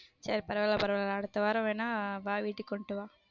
சேரி பரவால்ல பரவால்ல அடுத்த வாரம் வேணா வா வீட்டுக்கு கொண்டுட்டு வா.